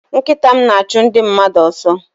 Nkịta m na-achụ ndị mmadụ ọsọ.